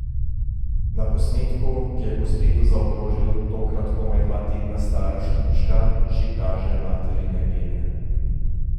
Na posnetku, ki je po spletu zaokrožil tokrat komaj dva tedna stara štručka že kaže materine gene.